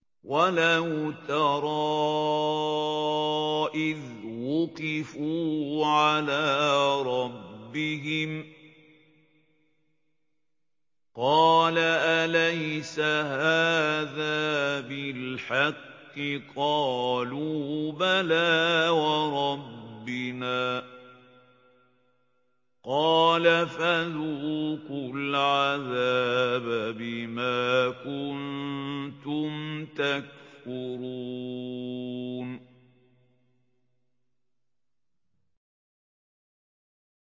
وَلَوْ تَرَىٰ إِذْ وُقِفُوا عَلَىٰ رَبِّهِمْ ۚ قَالَ أَلَيْسَ هَٰذَا بِالْحَقِّ ۚ قَالُوا بَلَىٰ وَرَبِّنَا ۚ قَالَ فَذُوقُوا الْعَذَابَ بِمَا كُنتُمْ تَكْفُرُونَ